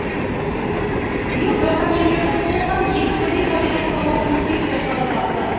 биыл браконьерлердің қолынан екі бірдей табиғат қорғау инспекторы қаза тапты